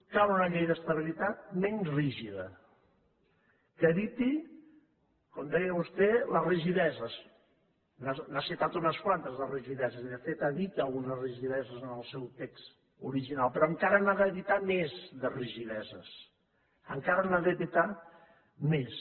cal una llei d’estabilitat menys rígida que eviti com deia vostè les rigideses n’ha citat unes quantes de rigideses i de fet evita algunes rigideses en el seu text original però encara n’ha d’evitar més de rigideses encara n’ha d’evitar més